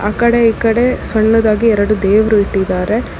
ಆ ಕಡೆ ಈ ಕಡೆ ಸಣ್ಣದಾಗಿ ಎರಡು ದೇವರು ಇಟ್ಟಿದ್ದಾರೆ.